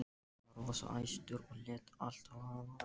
Hann var rosa æstur og lét allt vaða.